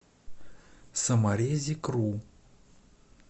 саморезикру